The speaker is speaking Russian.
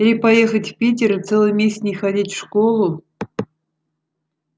или поехать в питер и целый месяц не ходить в школу